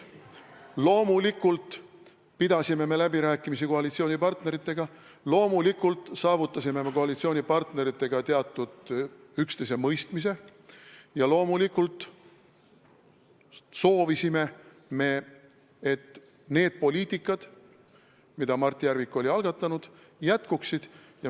Loomulikult pidasime me läbirääkimisi koalitsioonipartneritega, loomulikult saavutasime me koalitsioonipartneritega teatud üksteisemõistmise ja loomulikult soovisime me, et need poliitikad, mida Mart Järvik oli algatanud, jätkuksid.